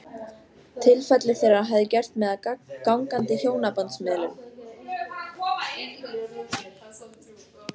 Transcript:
Tilfelli þeirra hafði gert mig að gangandi hjónabandsmiðlun.